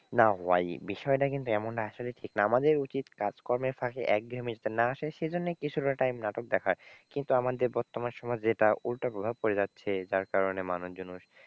না ভাই বিষয়টা কিন্তু এমন আসলে ঠিক না, আমাদের উচিত কাজকর্মের ফাঁকে একঘেয়েমী যাতে না আসে সেই জন্য কিছুটা time নাটক দেখার। কিন্তু আমাদের বর্তমান সমাজে এটার উল্টো প্রভাব পরে যাচ্ছে যার কারণে মানুষজন,